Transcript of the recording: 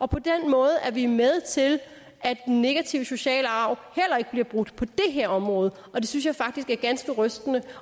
på den måde er vi med til at den negative sociale arv heller ikke bliver brudt på det her område og det synes jeg faktisk er ganske rystende